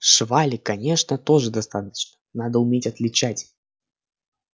швали конечно тоже достаточно надо уметь отличать